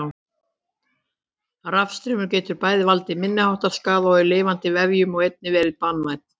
Rafstraumur getur bæði valdið minniháttar skaða í lifandi vefjum og einnig verið banvænn.